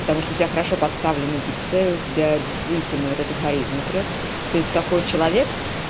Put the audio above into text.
потому что у тебя хорошо поставлена дикция у тебя действительно вот эта харизмы прёт то есть такой человек